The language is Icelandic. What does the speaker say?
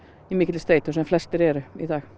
í mikilli streitu sem flestir eru í dag